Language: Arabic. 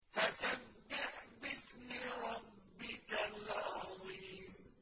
فَسَبِّحْ بِاسْمِ رَبِّكَ الْعَظِيمِ